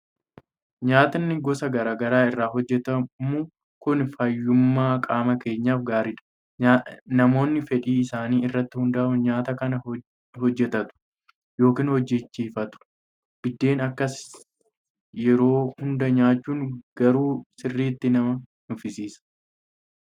Nyaatni gosa garaa garaa irraa hojjetamu kun fayyummaa qaama keenyaaf gaariidha. Namoonni fedhii isaanii irratti hundaa'uun nyaata kana hojjetatu yookiin hojjechiifatu. Biddeena akkasii yeroo hundaa nyaachuun garuu sirriitti nama nuffisiisa!